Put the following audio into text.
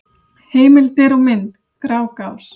Heimildir og mynd: Grágás.